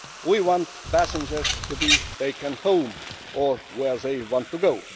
We want passengers to be taken home or to where they want to